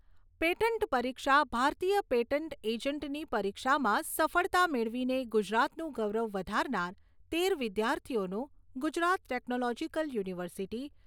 patent પરીક્ષા ભારતીય patent એજન્ટની પરીક્ષામાં સફળતા મેળવીને ગુજરાતનું ગૌરવ વધારનાર તેર વિદ્યાર્થીઓનું ગુજરાત ટેકનોલોજીકલ યુનિવર્સિટી